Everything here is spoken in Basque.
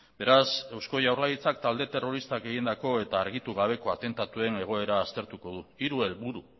beraz eusko jaurlaritzak talde terroristak egindako eta argitu gabeko atentatuen egoera aztertuko du hiru helburu